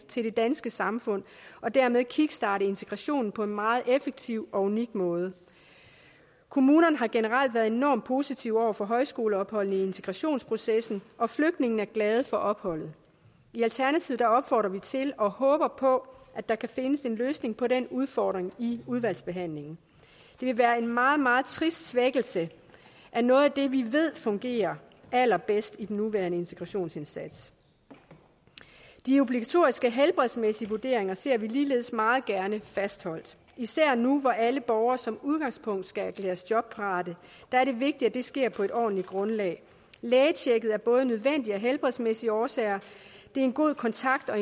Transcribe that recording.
til det danske samfund og dermed kickstarte integrationen på en meget effektiv og unik måde kommunerne har generelt været enormt positive over for højskoleophold i integrationsprocessen og flygtningene er glade for opholdet i alternativet opfordrer vi til og håber på at der kan findes en løsning på den udfordring i udvalgsbehandlingen det vil være en meget meget trist svækkelse af noget af det vi ved fungerer allerbedst i den nuværende integrationsindsats de obligatoriske helbredsmæssige vurderinger ser vi ligeledes meget gerne fastholdt især nu hvor alle borgere som udgangspunkt skal erklæres jobparate er det vigtigt at det sker på et ordentligt grundlag lægetjekket er både nødvendigt af helbredsmæssige årsager det er en god kontakt og